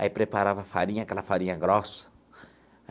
Aí preparava farinha, aquela farinha grossa.